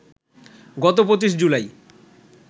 গত ২৫ জুলাই